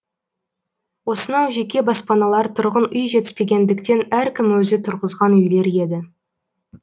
осынау жеке баспаналар тұрғын үй жетіспегендіктен әркім өзі тұрғызған үйлер еді